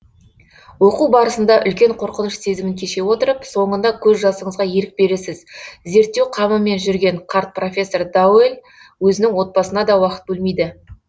оқу барысында үлкен қорқыныш сезімін кеше отырып соңында көз жасыңызға ерік бересіз зерттеу қамымен жүрген қарт профессор дауэль өзінің отабасына да уақыт бөлмейді